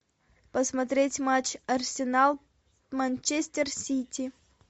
посмотреть матч арсенал манчестер сити